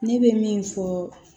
Ne bɛ min fɔ